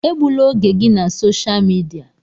Egbula oge gị na sosha midia!